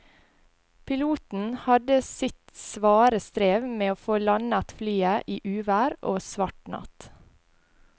Piloten hadde sitt svare strev med å få landet flyet i uvær og svart natt.